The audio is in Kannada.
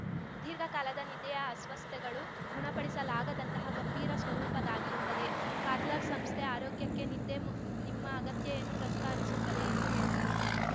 ದೀರ್ಘಕಾಲದ ನಿದ್ದೆಯ ಅಸ್ವಸ್ಥಗಳು ಗುಣಪಡಿಸಲಾಗದಂತಹ ಗಂಭೀರ ಸ್ವರೂಪದ್ದಾಗಿರುತ್ತದೆ ಕರ್ಲಾನ್ ಸಂಸ್ಥೆ ಆರೋಗ್ಯಕ್ಕೆ ನಿದ್ದೆ ನಿಮ್ಮ ಅಗತ್ಯೆಯನ್ನು ಪ್ರತಿಪಾದಿಸುತ್ತದೆ ಎಂದು ಹೇಳಿದರು